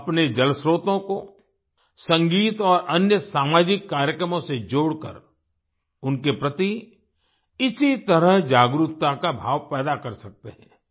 हम अपने जलस्त्रोतों को संगीत और अन्य सामाजिक कार्यक्रमों से जोड़कर उनके प्रति इसी तरह जागरूकता का भाव पैदा कर सकते हैं